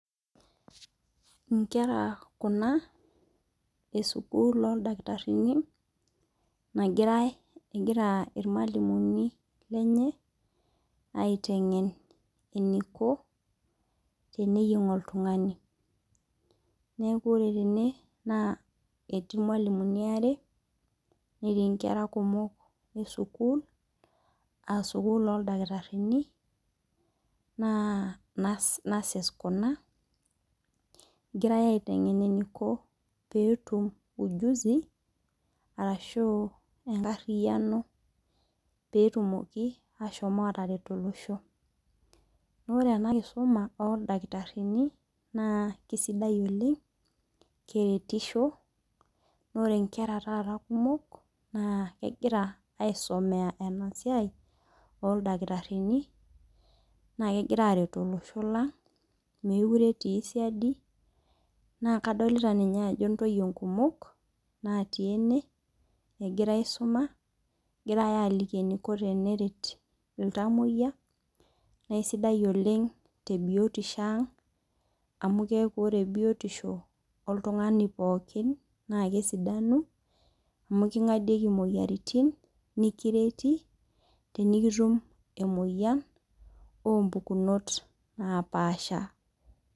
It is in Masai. Inkera kuna e sukul oo ildakitarini nagirae egira irmalimuni lenye aiteng'en eniko teneyieng oltung'ani. Neeku ore tene etii irmalimuni aare netii inkera kumok esukul aa sukul oo ildakitarini naa Nurses kuna egirae aiteng'en eniko pee etum ujuzi arashu enkariano petumoki ashom ataret olosho. Naa ore ena kisuma oo ildakitarini naa keisidai oleng' keretisho naa ore inkera taata kumok naa. Kegira aisomea ena siai oo ildakitarini naa kegira aret olosho lang' mokire etij siadi naa kadolit ninye ajo intoyie nkumok naati ene egira aisuma egira aliki eniko fenret iltamoyia naa isidai oleng' te biotisho ang'. Amu keeku ore biotisho oltungani pookin na kesidanu amu king'adieki imoyiaritin nikireti tenikitum emoyian oo mpukunot naapasha.